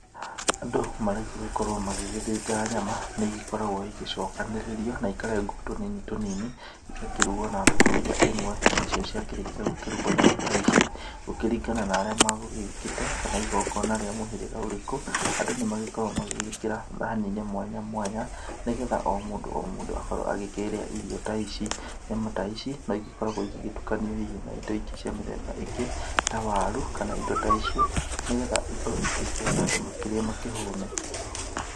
Andũ marĩgũgĩkorwo magĩgĩthĩnja nyama nĩ igĩkoragwo igĩcokanĩrĩrio na ikarengwo tũnini tũnini igakĩrugwo na thaburia ĩmwe. Nacio ciakĩrĩkia gũkĩrugwo nyama ta ici gũkĩringanaga na arĩa magũgĩũkĩte kana igongona rĩa mũhĩrĩga ũrĩkũ. Andũ nĩ magĩkoragwo magĩgĩkĩra thani-inĩ mwanya mwanya nĩ getha o mũndũ o mũndũ akorwo agĩkĩrĩa irio ta ici nyama ta ici. No igĩkoragwo igĩgĩtukanio na indo ingĩ cia mĩthemba ĩngĩ ta waru kana indo ta icio. Nĩ getha ikorwo ikĩingĩha na andũ makirĩe makĩhũne.